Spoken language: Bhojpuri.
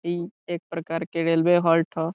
इ एक प्रकार के रेलवे होल्ट ह।